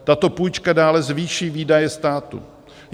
Tato půjčka dále zvýší výdaje státu.